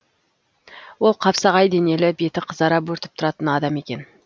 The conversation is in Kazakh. ол қапсағай денелі беті қызара бөртіп тұратын адам екен